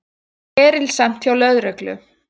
Erilsamt hjá lögreglu